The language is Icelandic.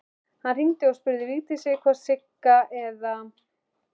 Hann hringdi og spurði Vigdísi hvort Sigga eða